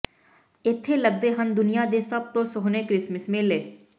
ਇਥੇ ਲੱੱਗਦੇ ਹਨ ਦੁਨੀਆਂ ਦੇ ਸਭ ਤੋਂ ਸੋਹਣੇ ਕ੍ਰਿਸਮਸ ਮੇਲੇ